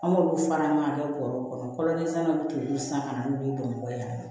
An b'olu fara an ka kɛ bɔrɔw kɔnɔ kɔlɔnlen sannaw bɛ t'olu san ka na n'u ye bamakɔ yan